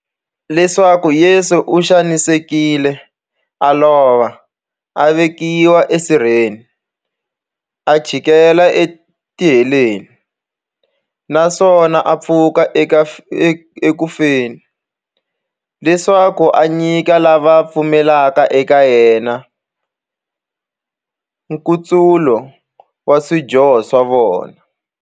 Leswaku Yesu u xanisekile, a lova, a vekiwa e sirheni, a chikela e tiheleni, naswona a pfuka eku feni, leswaku a nyika lava va pfumelaka eka yena, nkutsulo wa swidyoho swa vona.